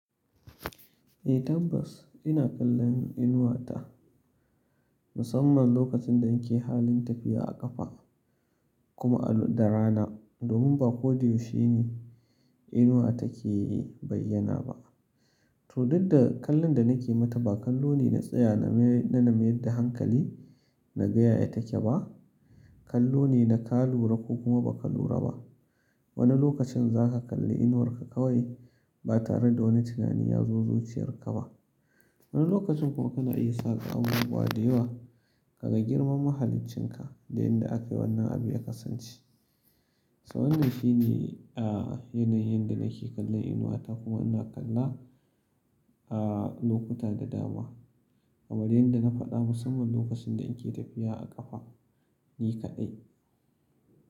Eh tabbas ina kallon inuwa ta, musamman lokacin da nake halin tafiya a ƙafa kuma da rana. Domin ba kodayaushene inuwa take yi bayana ba. To duk da kallon da nake mata ba kallo ne na tsaya na name da hankali na gaya yateke ba. Kallo ne na ka lura ko kuma ba ka lura ba. Wani lokacin za ka kalli inuwar ka kawai ba tare da wani tunani ya zo zuciyar ka ba. Wani lokacin kuma kana iya sa ka amura dayawa, ka ga girman mahalicin ka da yanda aka yi wannan abu ya kasance. To wannan shine a yanayin yanda nake kallon inuwa ta kuma ina kalla a lokuta da dama. Amma yanda na faɗa musamman lokacin da in ke tafiya a ƙafa ni kaɗai.